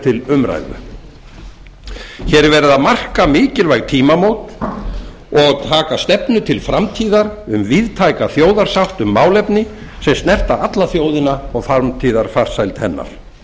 til umræðu hér er verið að marka mikilvæg tímamót og taka stefnu til framtíðar um víðtæka þjóðarsátt um málefni sem snerta alla þjóðina og framtíðarfarsæld hennar